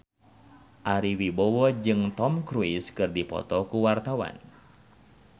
Ari Wibowo jeung Tom Cruise keur dipoto ku wartawan